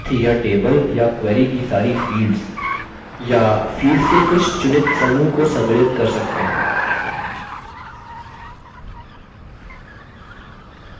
साथ ही यह table या query की सारी fields या fields के कुछ चुनित समूह को सम्मिलित कर सकते हैं